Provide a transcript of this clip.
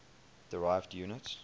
derived units